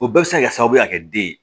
O bɛɛ bɛ se ka kɛ sababu ye ka kɛ den ye